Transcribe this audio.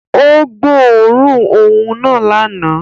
Ó gbóòórùn òun náà lánàá